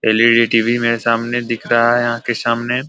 LED. TV. मेरे सामने दिख रहा है आँख के सामने --